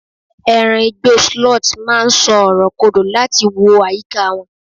eran Igbo sloth ma n so ọrọ kodò lati wo ayika won